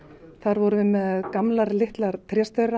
þar vorum við með gamlar litlar